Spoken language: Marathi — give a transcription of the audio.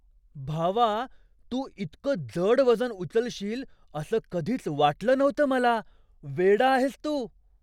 भावा! तू इतकं जड वजन उचलशील असं कधीच वाटलं नव्हतं मला, वेडा आहेस तू!